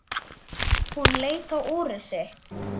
Hún leit á úrið sitt.